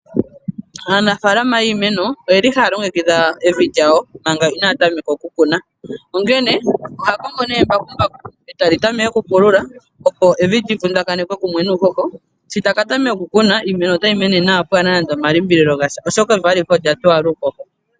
Aanafalama yiimeno oye li haya longekidha evi lyawo manga ina ya tameka okukuna onkene oha kongo nee embakumbaku e tali tameke okupulula opo evi lyi vundakanekwe kumwe nuuhoho sho taka tameka okukuna iimeno ota yi mene nawa pwaana nande omalimbililo gasha oshoka evi alihe olya towala uuhoho.